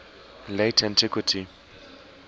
late antiquity